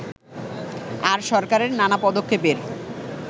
আর সরকারের নানা পদক্ষেপের